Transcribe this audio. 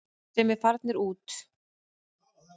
Sem eru farnir út.